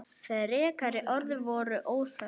Frekari orð voru óþörf.